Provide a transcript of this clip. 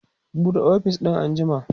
buɗe ofis din an jima!